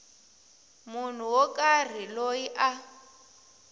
munhu wo karhi loyi a